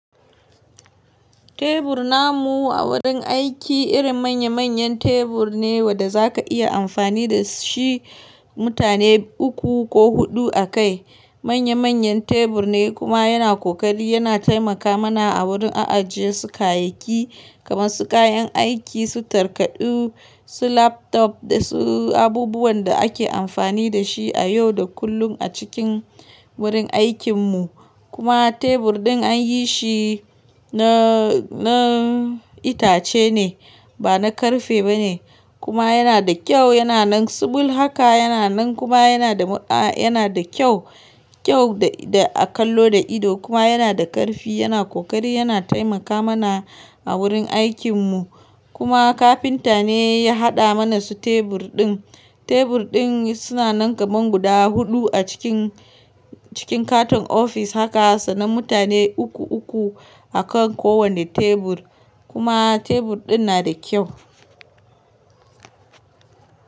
Tebur namu a wurin aiki irin manya manyan tebur ne wanda za ka iya amfani da shi mutane uku ko huɗu a kai. Manya manyan tebur ne kuma yana ƙoƙari yana taimaka mana a wurin a ajiye su kayayyaki kamar su kayan aiki, su takardu, su laptop da su abubuwan da ake amfani da shi a yau da kullum a cikin wurin aikin mu. Kuma tebur ɗin an yi shi na, na itace ne ba na ƙarfe ba ne kuma yana da kyau, yana nan sibul haka yana nan kuma yana da ma a yana da kyau, kyau da a kallo da ido kuma yana da ƙarfi, yana ƙoƙari yana taimaka mana a wurin aikin mu. Kuma kafinta ne ya haɗa mana su tebur ɗin. Tebur ɗin suna nan kaman guda huɗu a cikin, cikin katin ofis haka sana mutane uku uku a kan kowane tebur kuma tebur ɗin na da kyau.